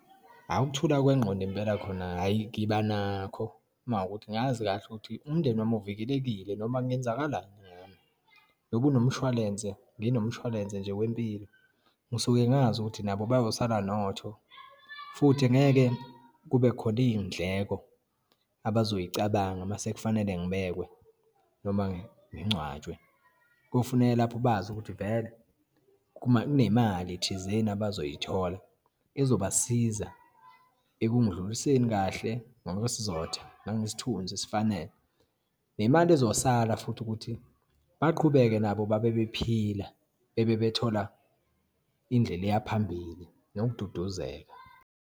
Awu ukuthula kwengqondo impela, khona hhayi ngiba nakho. Uma kuwukuthi ngazi kahle ukuthi umndeni wami uvikelekile noma kungenzakalani ngami, ngoba unomshwalense, nginomshwalense nje wempilo, ngisuke ngazi ukuthi nabo bayosala notho futhi ngeke kubekhona iyindleko abazoyicabanga uma sekufanele ngibekwe noma ngingcwatshwe. Kuyofuneka lapho bazi ukuthi vele kunemali thizeni abazoyithola ezobasiza ekungindluliseni kahle ngokwesizotha, nangesithunzi esifanele, nemali ezosala futhi ukuthi baqhubeke nabo babe bephila, bebe bethola indlela eyaphambili, nokududuzeka.